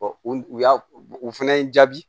o y'a o fɛnɛ ye n jaabi